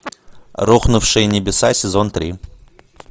рухнувшие небеса сезон три